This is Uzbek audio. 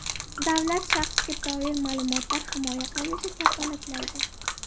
Davlat shaxsga doir ma’lumotlar himoya qilinishini kafolatlaydi.